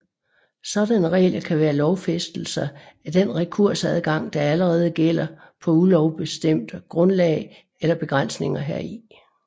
Sådanne regler kan være lovfæstelser af den rekursadgang der allerede gælder på ulovbestemt grundlag eller begrænsninger heri